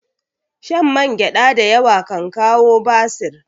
Shan mangyada da yawa kan kawo basir